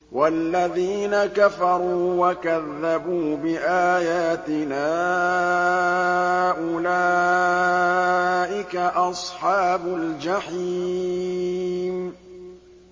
وَالَّذِينَ كَفَرُوا وَكَذَّبُوا بِآيَاتِنَا أُولَٰئِكَ أَصْحَابُ الْجَحِيمِ